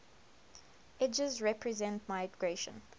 edges represent migration